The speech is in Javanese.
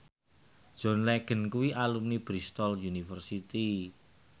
John Legend kuwi alumni Bristol university